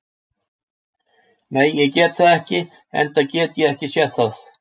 Nei, ég get það ekki enda get ég ekki séð það.